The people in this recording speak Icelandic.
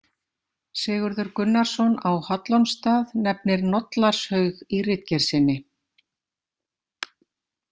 Sigurður Gunnarsson á Hallormsstað nefnir Nollarshaug í ritgerð sinni.